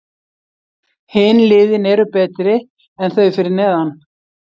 Hin liðin eru betri en þau fyrir neðan.